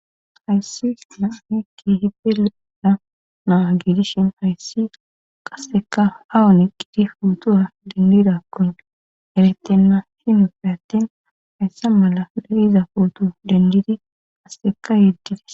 hayssi naahekki hide le7ela naa giidishin hayssi qasseka awun qidi puutura dindidakkun erettenna hin featten hayssa mala le7iza puutu dendidi qasseka yeddite